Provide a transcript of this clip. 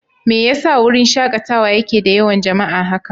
Me yasa wurin shakatawa yake da yawan jama'a haka?